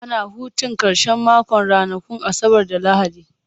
Ana hutun karshen mako ranakun Asabar da Lahadi.